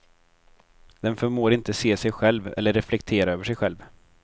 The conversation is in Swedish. Den förmår inte se sig själv eller reflektera över sig själv.